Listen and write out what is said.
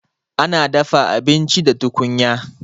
Ana dafa abinci da tukunya